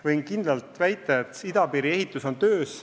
Võin kindlalt väita, et idapiiri ehitus käib.